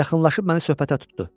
Yaxınlaşıb məni söhbətə tutdu.